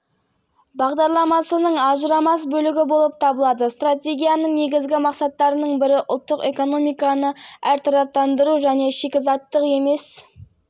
бұдан басқа стратегия шеңберінде әйелдерді де қоғамдық өмірге тартуға бағытталған жәнеүлкен құқықтар мен мүмкіндіктер беру бағытында көптеген шаралар қабылдануда